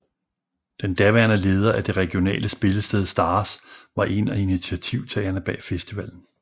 Den daværende leder af det regionale spillested Stars var en af initiativtagerne bag festivalen